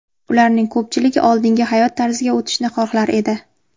Ularning ko‘pchiligi oldingi hayot tarziga o‘tishni xohlar edi.